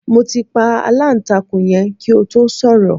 Mo ti pa aláǹtakùn yẹn kí o tó sọ̀rọ̀